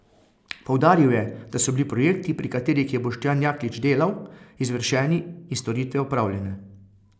Poudaril je, da so bili projekti, pri katerih je Boštjan Jaklič delal, izvršeni in storitve opravljene.